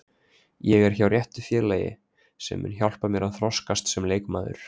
Ég er hjá réttu félagi sem mun hjálpa mér að þroskast sem leikmaður.